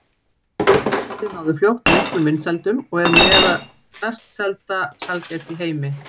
Sælgætið náði fljótt miklum vinsældum og er með mest selda sælgæti í heimi.